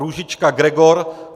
Růžička Gregor